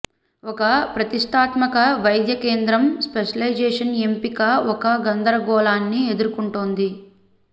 ఒక ప్రతిష్టాత్మక వైద్య కేంద్రం స్పెషలైజేషన్ ఎంపిక ఒక గందరగోళాన్ని ఎదుర్కుంటోంది